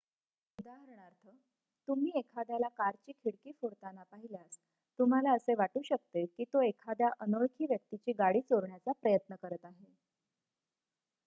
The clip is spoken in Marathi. उदाहरणार्थ तुम्ही एखाद्याला कारची खिडकी फोडताना पाहिल्यास तुम्हाला असे वाटू शकते की तो एखाद्या अनोळखी व्यक्तीची गाडी चोरण्याचा प्रयत्न करत आहे